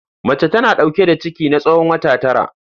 Mace tana dauke da ciki na tsawon wata tara.